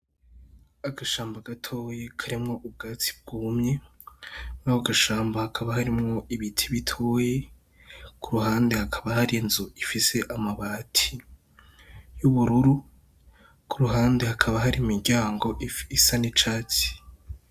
Agashamba gatoyi karimwo ubwatsi bwumye, murako gashamba hakaba harimwo ibiti bitoyi, ku ruhande hakaba hari inzu ifise amabati y'ubururu ku ruhande hakaba hari imiryango y'ubururu, ku ruhande hakaba hari imiryango isa n'icatsi.